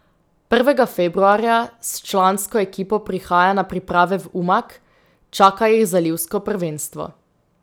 Prvega februarja s člansko ekipo prihaja na priprave v Umag, čaka jih zalivsko prvenstvo.